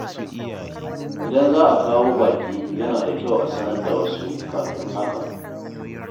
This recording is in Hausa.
Idan za a kawo baƙi, yana da kyau a sanar da wasu kafin hakan.